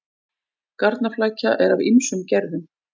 Garnaflækja er af ýmsum gerðum.